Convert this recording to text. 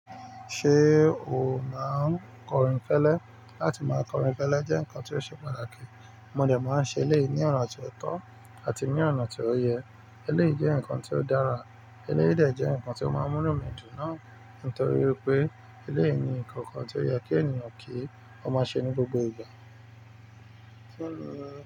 Ṣée o máa ń kọrìn kélé? Látí máa kọrìn kélé jẹ́ ǹmkan tí ó ṣe pàtàkì. Mo dà máa ń ṣe eléyìí ní ọ̀nà tí ó tọ́ àti ní ọ̀nà tí ó yẹ. Eléyìí jẹ́ ǹkan tí ó dára. Eléyìí de jẹ́ ǹnkan tí ó máa ń múnu mi dùn náà nítorí pé eléyìí ni nkankan tí ó yẹ kí ènìyàn kí ó máa ṣe ní gbogbo ìgbà.